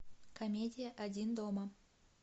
комедия один дома